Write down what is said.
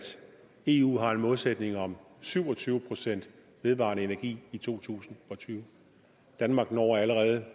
eu har en målsætning om syv og tyve procent vedvarende energi i to tusind og tyve danmark når allerede